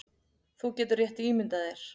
Þú getur rétt ímyndað þér